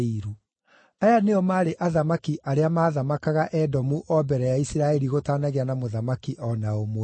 Aya nĩo maarĩ athamaki arĩa maathamakaga Edomu o mbere ya Isiraeli gũtanagĩa na mũthamaki o na ũmwe: